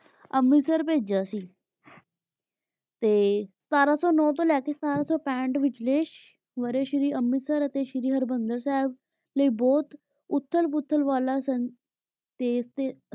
ਅੰਮ੍ਰਿਤਸਰ ਭੇਜਿਯਾ ਸੀ ਸਤਰਾਂ ਸੂ ਨੂ ਤੋਂ ਲੇ ਕੇ ਸਤਰਾਂ ਸੋ ਪੰਥ ਵਿਚਲੀ ਵਰਸ਼ ਦੀ ਅੰਮ੍ਰਿਤਸਰ ਤੇ ਸ਼ੀਰੀ ਹਰ੍ਬੰਦਰ ਸਾਹਿਬ ਲੈ ਬੋਹਤ ਉਥਲ ਫੁਥਲ ਵਾਲਾ ਤੇਜ ਟੀ